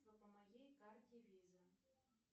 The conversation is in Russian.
по моей карте виза